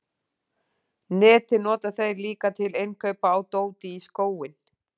Netið nota þeir líka til innkaupa á dóti í skóinn.